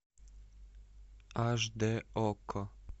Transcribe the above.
аш д окко